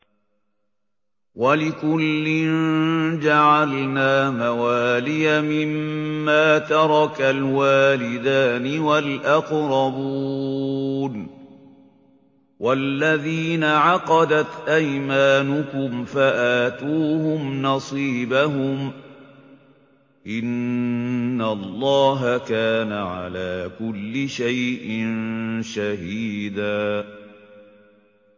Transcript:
وَلِكُلٍّ جَعَلْنَا مَوَالِيَ مِمَّا تَرَكَ الْوَالِدَانِ وَالْأَقْرَبُونَ ۚ وَالَّذِينَ عَقَدَتْ أَيْمَانُكُمْ فَآتُوهُمْ نَصِيبَهُمْ ۚ إِنَّ اللَّهَ كَانَ عَلَىٰ كُلِّ شَيْءٍ شَهِيدًا